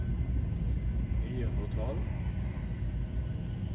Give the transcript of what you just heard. ni hundre og tolv